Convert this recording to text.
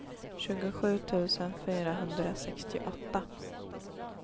tjugosju tusen fyrahundrasextioåtta